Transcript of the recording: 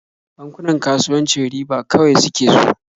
Bankunan kasuwanci riba kawai suke so.